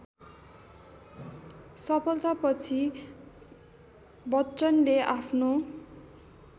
सफलतापछि बच्चनले आफ्नो